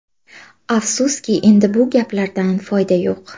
Afsuski, endi bu gaplardan foyda yo‘q.